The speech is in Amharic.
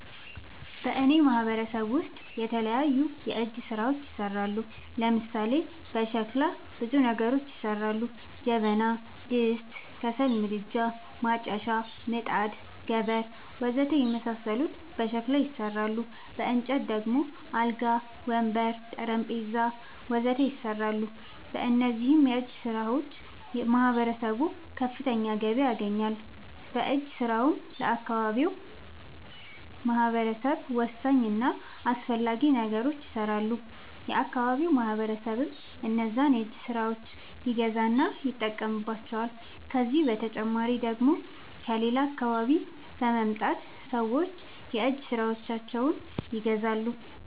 በእኔ ማህበረሰብ ውስጥ የተለያዩ የእጅ ስራዎች ይሠራሉ። ለምሳሌ፦ በሸክላ ብዙ ነገሮች ይሠራሉ። ጀበና፣ ድስት፣ ከሰል ምድጃ፣ ማጨሻ፣ ምጣድ፣ ገበር... ወዘተ የመሣሠሉት በሸክላ ይሠራሉ። በእንጨት ደግሞ አልጋ፣ ወንበር፣ ጠረንጴዛ..... ወዘተ ይሠራሉ። በእነዚህም የእጅስራዎች ማህበረሰቡ ከፍተኛ ገቢ ያገኛል። በእጅ ስራውም ለአካባቢው ማህበረሰብ ወሳኝ እና አስፈላጊ ነገሮች ይሠራሉ። የአካባቢው ማህበረሰብም እነዛን የእጅ ስራዎች ይገዛና ይጠቀምባቸዋል። ከዚህ በተጨማሪ ደግሞ ከሌላ አካባቢ በመምጣት ሠዎች የእጅ ስራዎቸችን ይገዛሉ።